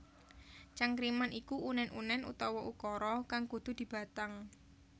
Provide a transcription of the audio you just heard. Cangkriman iku unèn unèn utawa ukara kang kudu dibatang